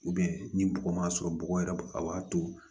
ni bɔgɔ ma sɔrɔ bɔgɔ yɛrɛ a b'a to